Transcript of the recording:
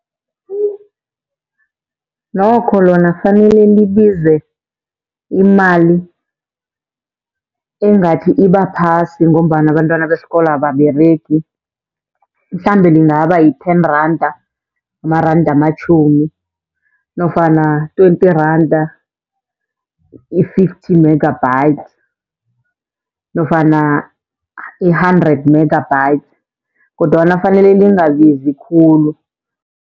Nokho lona fanele libize imali engathi ibaphasi, ngombana abentwana besikolo ababeregi. Mhlambe lingaba yi-ten randa, amaranda amatjhumi nofana twenty randa i-fifty megabytes nofana i-hundred megabytes kodwana fanele lingabizi khulu.